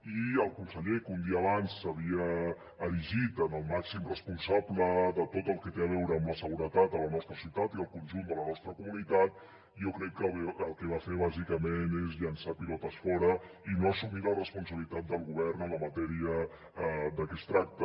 i el conseller que un dia abans s’havia erigit en el màxim responsable de tot el que té a veure amb la seguretat a la nostra ciutat i al conjunt de la nostra comunitat jo crec que el que va fer bàsicament és llençar pilotes fora i no assumir la responsabilitat del govern en la matèria de què es tracta